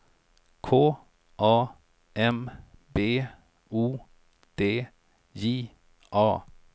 K A M B O D J A